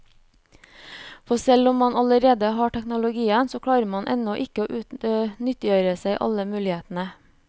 For selv om man allerede har teknologien, så klarer man ennå ikke å nyttiggjøre seg alle mulighetene.